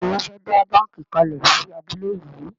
Béèni Wón fè dá bánkì kalè sí abúlé yí.